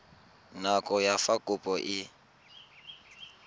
nako ya fa kopo e